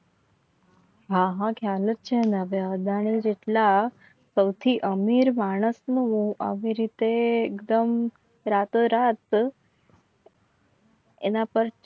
હા હા ખ્યાલ છે. એટલા સૌથી અમીર માણસ ના આવી રીતે એકદમ રાતો રાત એના પર